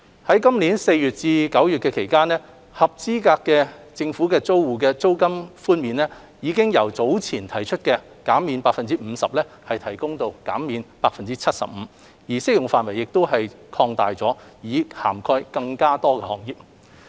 在今年4月至9月期間，合資格租戶的租金寬免比率已由早前提出的 50% 提高至 75%， 而適用範圍亦已擴大，以涵蓋更多行業。